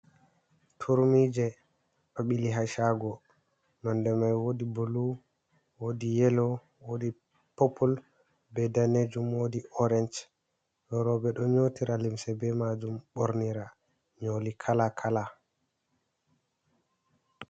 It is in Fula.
Turmi je ɗo bili ha shago nonde mai wodi bulu, wodi yelo, wodi popul, be danejum, wodi orenc, ɗo rowɓe ɗo nyotira limse be majum bornira nyoli kala kala.